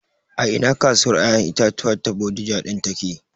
A ina kasuwar ƴaƴan itatuwa ta Bodija ɗin take